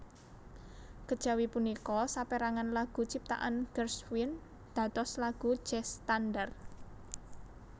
Kejawi punika saperangan lagu ciptaan Gershwin dados lagu jazz standar